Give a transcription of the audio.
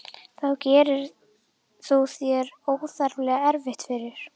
Þá gerir þú þér óþarflega erfitt fyrir.